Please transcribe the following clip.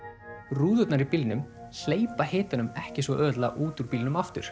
rúðurnar í bílnum hleypa hitanum ekki svo auðveldlega út úr bílnum aftur